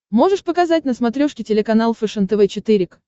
можешь показать на смотрешке телеканал фэшен тв четыре к